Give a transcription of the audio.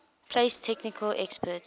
place technical experts